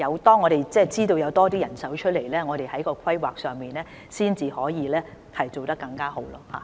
當我們知道有多些人手的時候，才可以在規劃方面做得更好。